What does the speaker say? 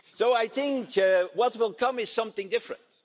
coming years. I think that what will come is something